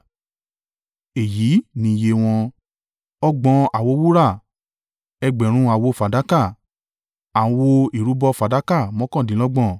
Èyí ni iye wọn. Ọgbọ̀n àwo wúrà 30 Ẹgbẹ̀rún àwo fàdákà 1,000 Àwo ìrúbọ fàdákà mọ́kàndínlọ́gbọ̀n 29